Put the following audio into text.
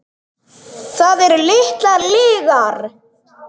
Það eru litlar lygar.